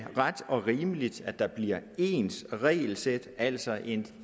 ret og rimeligt at der bliver ens regelsæt altså en